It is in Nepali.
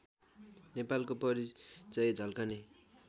नेपालको परिचय झल्कने